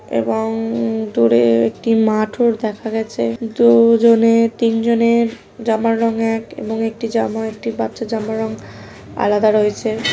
এবং দূরের একটি মাঠও দেখা গেছে দু জনে তিনজনের জামার রং এক এবং একটি জামা একটি বাচ্চা জামা রং আলাদা রয়েছে।